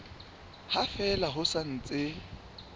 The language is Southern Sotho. ha fela ho sa ntse